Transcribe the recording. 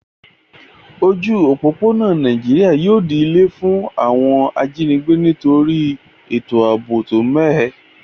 Ojú òpópónà Naijiri yio di ilé fún àwon ajínigbé nítorí ètò àbò tó mẹ́hẹ